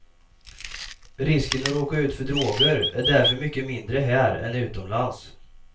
Risken att råka ut för droger är därför mycket mindre här än utomlands.